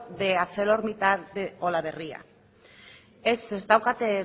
de arcelormittal de olaberria ez ez daukat